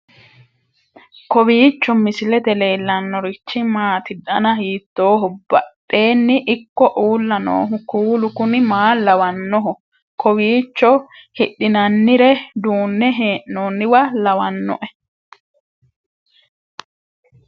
kowiicho misilete leellanorichi maati ? dana hiittooho ?abadhhenni ikko uulla noohu kuulu kuni maa lawannoho? kowiicho hidhinannire duunne hee'noonniwa lawannoe